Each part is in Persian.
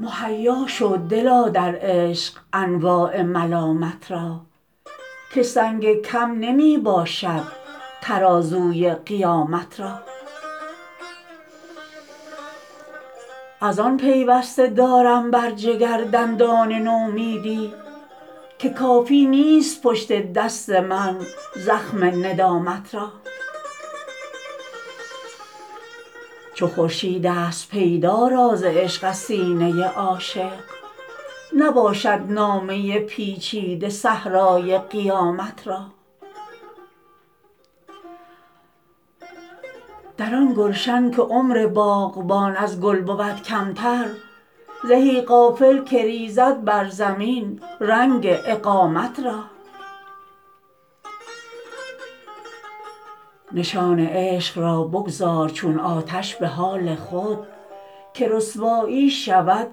مهیا شو دلا در عشق انواع ملامت را که سنگ کم نمی باشد ترازوی قیامت را ازان پیوسته دارم بر جگر دندان نومیدی که کافی نیست پشت دست من زخم ندامت را چو خورشیدست پیدا راز عشق از سینه عاشق نباشد نامه پیچیده صحرای قیامت را در آن گلشن که عمر باغبان از گل بود کمتر زهی غافل که ریزد بر زمین رنگ اقامت را نشان عشق را بگذار چون آتش به حال خود که رسوایی شود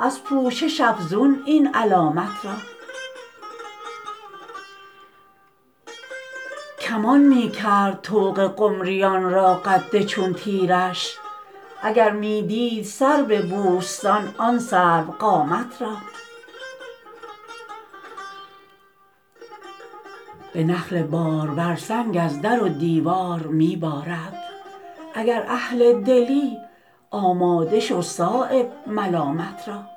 از پوشش افزون این علامت را کمان می کرد طوق قمریان را قد چون تیرش اگر می دید سرو بوستان آن سرو قامت را به نخل بارور سنگ از در و دیوار می بارد اگر اهل دلی آماده شو صایب ملامت را